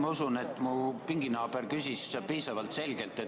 Ma usun, et mu pinginaaber küsis piisavalt selgelt.